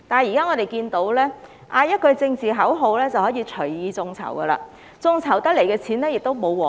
然而，現在只要喊句政治口號便可以隨意眾籌，眾籌得來的款項亦不受規管。